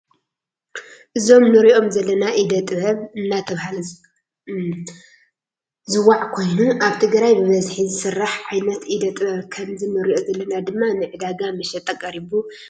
እዞም ንሪኦም ዘለና ኢደ ጥበብ እናተባህለ ዝዋዕ ኮይኑ አብ ትግራይ ብበዝሒ ዝስራሕ ዓይነት ኢደ ጥበብ ከምዚ ንሪኦ ዘለና ድማ ንዕዳጋ መሸጣ ቀሪቡ ንሪኢ አለና።